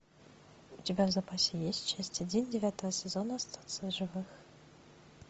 у тебя в запасе есть часть один девятого сезона остаться в живых